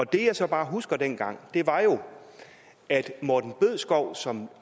det jeg så bare husker fra dengang er at morten bødskov som